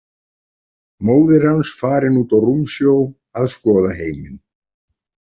Móðir hans farin út á rúmsjó að skoða heiminn.